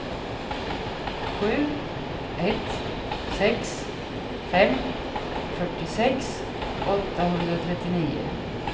sju ett sex fem fyrtiosex åttahundratrettionio